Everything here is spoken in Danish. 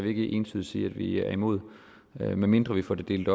ikke entydigt sige at vi er imod men medmindre vi får det delt